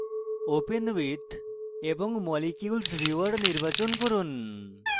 open with এবং molecules viewer বিকল্পটি নির্বাচন করুন